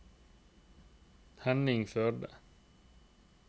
Henning Førde